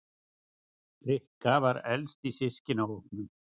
Rikka var elst af systkinahópnum.